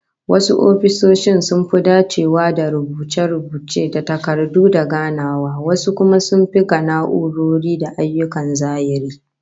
Wasu ofisoshin sun dacewa da rubuce-rubuce da takardu da ganawa, wasu kuma sun fi ga na'urori da ayyukan zahiri